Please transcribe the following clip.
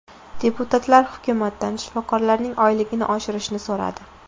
Deputatlar hukumatdan shifokorlarning oyligini oshirishni so‘radi.